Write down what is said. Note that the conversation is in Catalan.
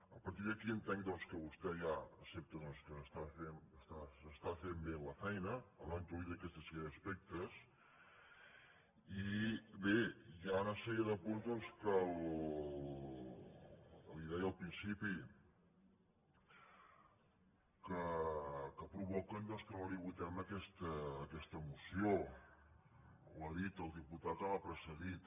a partir d’aquí entenc doncs que vostè ja accepta que s’està fent bé la feina han introduït aquesta sèrie d’aspectes i bé hi ha una sèrie de punts que li deia al principi que provoquen doncs que no li votem aquesta moció ho ha dit el diputat que m’ha precedit